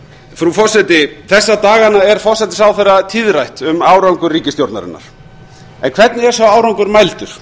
frú forseti þessa dagana er hæstvirtur forsætisráðherra tíðrætt um árangur ríkisstjórnarinnar en hvernig er sá árangur mældur